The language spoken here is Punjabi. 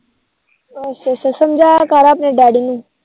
ਅੱਛਾ ਅੱਛਾ ਸਮਜਾਇਆ ਕਰ ਆਪਣੇ Daddy ਨੂੰ